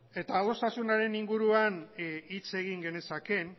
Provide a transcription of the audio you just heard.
eta adostasunaren inguruan hitz egin genezakeen